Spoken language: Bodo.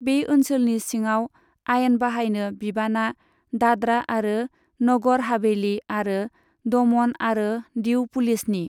बे ओनसोलनि सिङाव आयेन बाहायनो बिबाना दाद्रा आरो नगर हावेली आरो दमन आरो दीउ पुलिसनि।